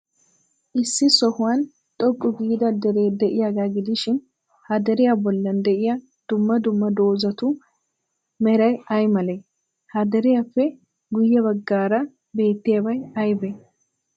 Issi sohuwan xoqqu giida deree de'iyaagaa gidishin, ha deriyaa bollan de'iyaa dumma dumma dozatu meray ay malee? Ha deriyaappe guyye baggaaraa beettiyabay aybee?